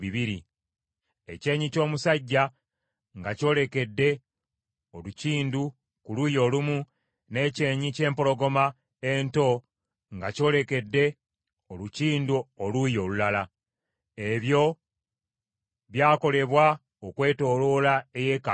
ekyenyi ky’omusajja nga kyolekedde olukindu ku luuyi olumu n’ekyenyi ky’empologoma ento nga kyolekedde olukindu oluuyi olulala. Ebyo byakolebwa okwetooloola eyeekaalu yonna.